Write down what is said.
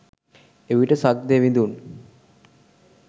එවිට සක්දෙවිඳුන්